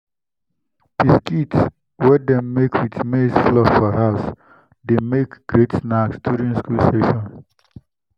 biscuits wey dem make with maize flour for house dey make great snacks during school season.